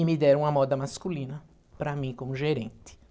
E me deram a moda masculina para mim como gerente.